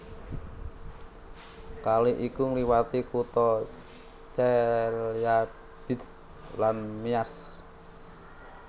Kali iki ngliwati kutha Chelyabinsk lan Miass